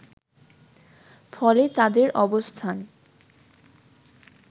ফলে তাদের অবস্থান